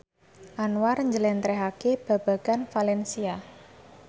Anwar njlentrehake babagan valencia